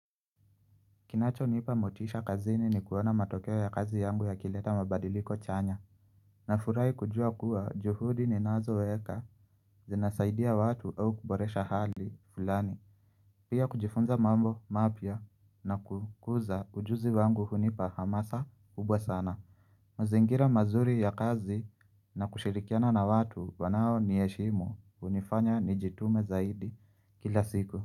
Kinacho nipa motisha kazini ni kuona matokeo ya kazi yangu yakileta mabadiliko chanya. Nafurahi kujua kuwa juhudi ninazoweka zinasaidia watu au kuboresha hali fulani. Pia kujifunza mambo mapya na kukuza ujuzi wangu hunipa hamasa kubwa sana. Mazingira mazuri ya kazi na kushirikiana na watu wanao nieshimu unifanya nijitume zaidi kila siku.